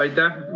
Aitäh!